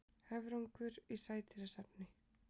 Höfrungur í sædýrasafni.